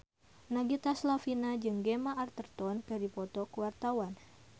Nagita Slavina jeung Gemma Arterton keur dipoto ku wartawan